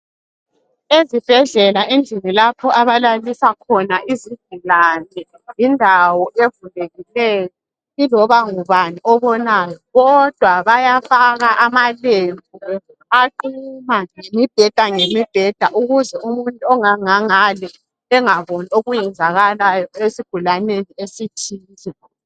Ezibhedlela endlini lapho abalalisa khona izigulane, yindawo evulekikeyo iloba ngubani obonayo kodwa bayafaka amalembu aquma ngemibheda ngemibheda ukuze umuntu ongangangale angaboni okwenzakala esigulabeni esithile.